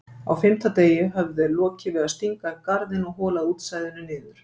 Á fimmta degi höfðu þeir lokið við að stinga upp garðinn og holað útsæðinu niður.